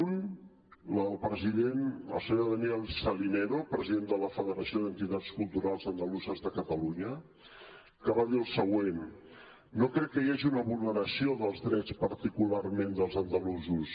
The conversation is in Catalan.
una la del senyor daniel salinero president de la federació d’entitats culturals andaluses de catalunya que va dir el següent no crec que hi hagi una vulneració dels drets particularment dels andalusos